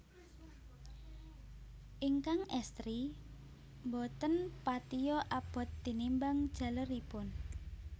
Ingkang estri boten patia abot tinimbang jaleripun